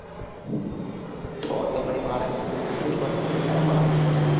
તો તો પહી મારે એમની જોડે શીખવું જ પડશે તમે ક્યારે માંલાવાસો મને